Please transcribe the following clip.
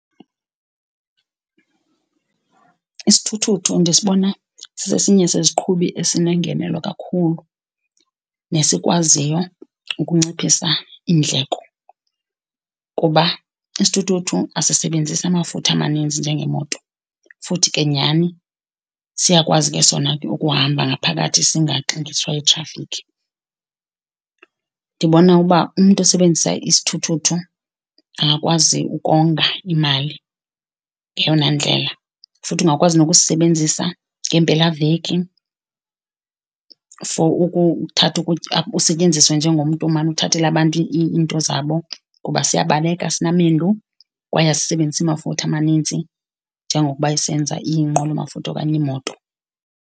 Isithuthuthu ndisibona sisesinye seziqhubi esinengenelo kakhulu nesikwaziyo ukunciphisa iindleko kuba isithuthuthu asisebenzisi amafutha amaninzi njengemoto, futhi ke nyhani siyakwazi ke sona ke ukuhamba ngaphakathi singaxingiswa yithrafikhi. Ndibona uba umntu osebenzisa isithuthuthu angakwazi ukonga imali ngeyona ndlela. Futhi ungakwazi nokusisebenzisa ngeempelaveki for ukuthatha ukutya usentyenziswe njengomntu omane uthathela abantu iinto zabo kuba siyabaleka kwaye asisebenzisi mafutha manintsi njengokuba isenza inqwelomafutha okanye iimoto.